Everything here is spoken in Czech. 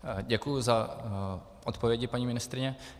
Děkuju za odpovědi, paní ministryně.